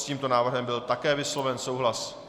S tímto návrhem byl také vysloven souhlas.